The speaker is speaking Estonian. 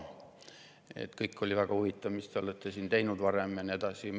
Kõik oli väga huvitav, mis te olete siin varem teinud ja nii edasi.